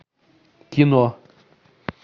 кино